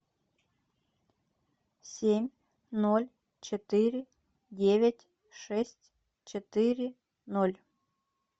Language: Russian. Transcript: семь ноль четыре девять шесть четыре ноль